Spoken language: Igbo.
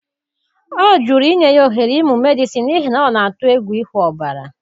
Ọ jụrụ inye ya ohere ịmụ Medịsịn n'ihi na ọ na-atụ egwu ịhụ ọbara.